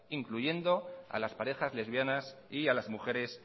incluyendo a las parejas lesbianas y a las mujeres